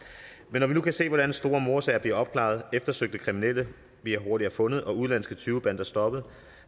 men når vi nu kan se hvordan store mordsager bliver opklaret eftersøgte kriminelle bliver hurtigere fundet og udenlandske tyvebander stoppet